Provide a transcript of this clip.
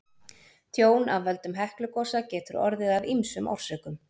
Tjón af völdum Heklugosa getur orðið af ýmsum orsökum.